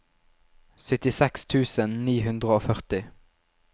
syttiseks tusen ni hundre og førti